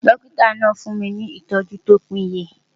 Dọ́kítà náà fún mi ìtọ́jú tó péye.